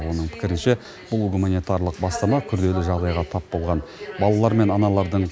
оның пікірінше бұл гуманитарлық бастама күрделі жағдайға тап болған балалар мен аналардың